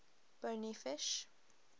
bony fish